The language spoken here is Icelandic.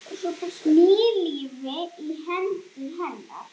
Ný lífi í hendur hennar.